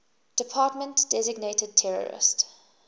department designated terrorist